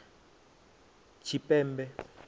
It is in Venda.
tshipembe